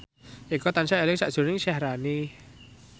Eko tansah eling sakjroning Syaharani